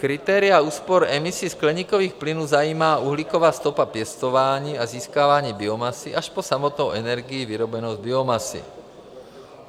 Kritéria úspor emisí skleníkových plynů zajímá uhlíková stopa pěstování a získávání biomasy, až po samotnou energii vyrobenou z biomasy.